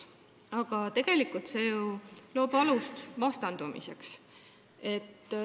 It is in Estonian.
Aga tegelikult loob see alust vastandumiseks.